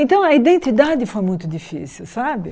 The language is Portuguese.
Então a identidade foi muito difícil, sabe?